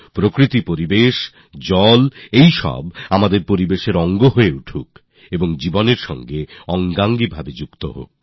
প্রকৃতি পরিবেশ জল এই সব কিছু আমাদের পর্যটনের অঙ্গ হোক জীবনেরও অঙ্গ হোক